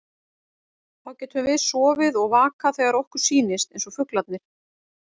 Þá getum við sofið og vakað þegar okkur sýnist, eins og fuglarnir.